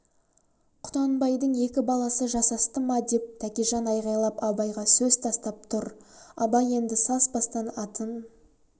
құнанбайдың екі баласы жасасты ма деп тәкежан айғайлап абайға сөз тастап тұр абай енді саспастан атын